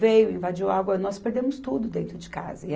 Veio, invadiu água, nós perdemos tudo dentro de casa.